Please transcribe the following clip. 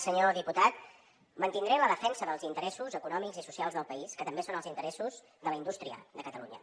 senyor diputat mantindré la defensa dels interessos econòmics i socials del país que també són els interessos de la indústria de catalunya